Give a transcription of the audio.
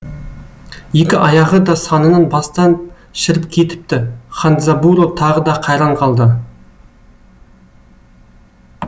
екі аяғы да санынан бастан шіріп кетіпті хандзабуро тағы да қайран қалды